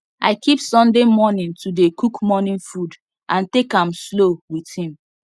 i keep sunday morning to dey cook morning food and take am slow with him